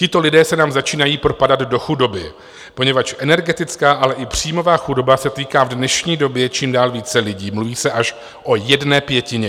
Tito lidé se nám začínají propadat do chudoby, poněvadž energetická, ale i příjmová chudoba se týká v dnešní době čím dál více lidí, mluví se až o jedné pětině.